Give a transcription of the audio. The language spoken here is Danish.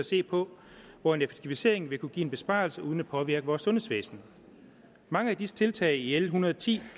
se på hvor en effektivisering vil kunne give en besparelse uden at påvirke vores sundhedsvæsen mange af disse tiltag i l en hundrede og ti